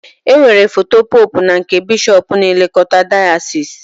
E nwere foto pope na nke bishop na-elekota dayasis.